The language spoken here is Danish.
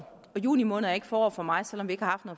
i juni måned er ikke forår for mig selv om vi ikke har